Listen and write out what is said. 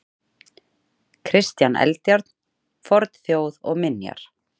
Kristján Eldjárn: Fornþjóð og minjar.